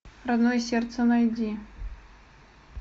родное сердце найди